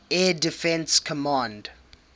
air defense command